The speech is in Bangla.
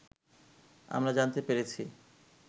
আমরা জানতে পেরেছি